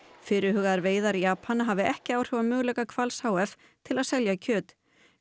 fyrirhugaðar veiðar Japana hafi ekki áhrif á möguleika Hvals h f til að selja kjöt